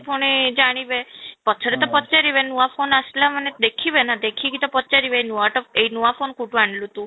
ପୁଣି ଜାଣିବେ ପଛରେ ତ ପଚାରିବେ ନୂଆ phone ଆସିଲା ମାନେ ଦେଖିବେ ନା ଦେଖି କି ତ ପଚାରିବେ ନୂଆଟା ଏଇ ନୂଆ phone କୋଉଠୁ ଆଣିଲୁ ତୁ